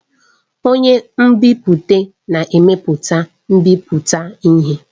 Onye nbipute na-emepụta mbipụta ihe.